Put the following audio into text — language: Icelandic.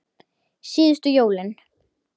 Síðustu jólin.